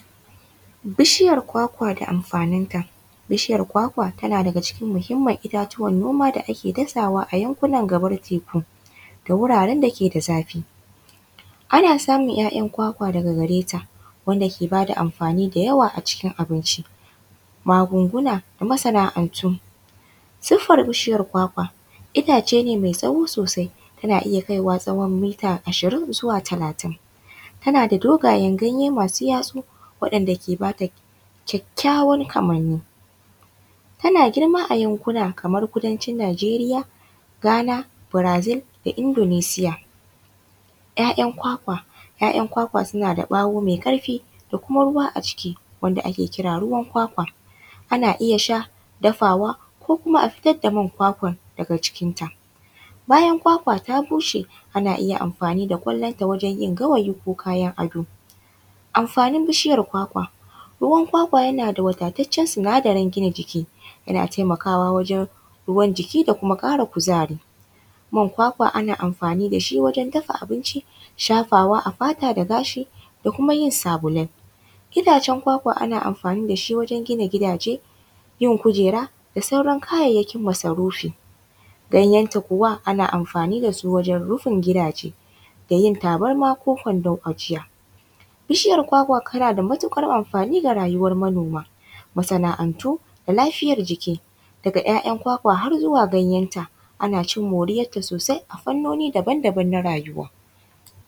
Bishiyar kwakwa da amfaninta, bishiyar kwakwa tana daga cikin muhimman itatuwan noma da ake dasawa a yankunan gabar teku da wuraran dake da zafi ana samun ‘ya’yan kwakwa daga gareta wanda ke bada amfani da yawa a cikin abinci, magunguna da masana’antu sifar bishiyan kwakwa itace ne mai tsawo sosai tana iya kaiwa tsawon mita ashirin zuwa talatin tana da dogayen ganye masu yatsu waɗanɗa ke bata kyakyawan kamani tana girma a yankuna kamar kudancin Nigeriya, Ghana, Brazil da Indonicia. ‘ya’yan kwakwa ‘ya’yan kwakwa suna da ɓawo mai karfi da kuma ruwa a ciki wanda ake kira ruwan kwakwa ana iya sha dafawa ko kuma a fitar da man kwakwan daga jikinta, bayan kwakwa ta bushe ana iya amfani da kwallon ta wajen yin gawayi ko kayan ado amfanin bishiyar kwakwa ruwan kwakwa yana da wadatacen sinadarin gina jiki yana taimakawa wajen ruwan jiki da kara kuzari, man kwakwa ana amfani da shi wajen dafa abinci shafawa a fata da gashi da kuma yin sabulai, gidajen kwakwa ana amfani da shi wajen gina gidaje yin kujera da sauran kayayyakin masarufi ganyanta kuwa ana amfani su wajen rufin gidaje da yin tabarma ko kwandan ajiya bishiyar kwakwa tana da matukar amfani ga rayuwar manoma masana’antu da lafiyar jiki daga ‘ya’yan kwakwa har zuwa ganyanta ana cin moriyanta sosai a fannoni daban-daban na rayuwa.